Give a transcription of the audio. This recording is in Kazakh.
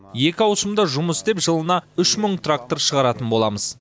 екі ауысымда жұмыс істеп жылына үш мың трактор шығаратын боламыз